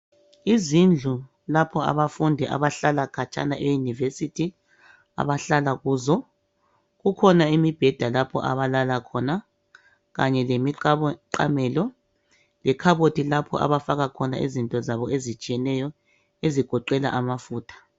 Izindlu lapho abafundi abahlala khatshana euniversity abahlala kuzo kukhona imibheda lapho abalala khona. Kanye lemiqamelo .Lekhabothi lapho abafaka khona izinto zabo ezitshiyeneyo ezigoqela amafutha.